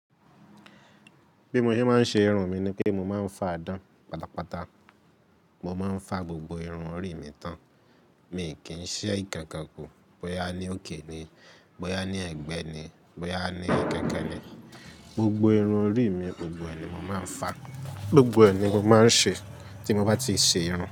Bí mo ṣe máa ń ṣe irun mi ni pé mo máa ń fa dán pátápátá. Mo máa ń fa gbogbo irun orí mi tán. Mi kì í n ṣe ìkankan kù. Bóyá ní òkè ni, bóyá ní ẹ̀gbẹ́ ni, bóyá ní kẹ̀kẹ́ ni, gbogbo irun orí mi, gbogbo ẹ̀ ni mo máa ń fa. Gbogbo ẹ̀ ni mo máa ń ṣe tí mo bá ti ṣe irun.